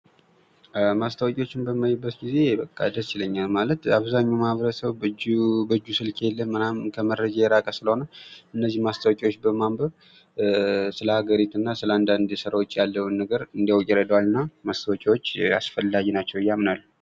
ማስታወሻዎችን በማይበት ጊዜ ደስ ይለኛል፤ ማለት በአብዛኛው ማህበረሰቡ በእጁ ስልክ የለም። እናም ከመረጃ የራቀ ስለሆነ፤ እነዚህ ማስታወቂያዎች በማንበብ ስለ አገሪቱ እና ስለ አንዳንድ ሥራዎች ያለውን ነገር እንዲያውቅ ይረዳዋል እና ማስታወቂያዎች ፈላጊ ናቸው ብዬ ያምናለሁ።